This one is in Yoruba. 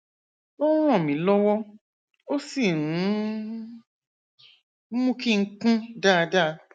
ó ń ràn mí lọwọ ó sì ń mú kí n kún dáadáa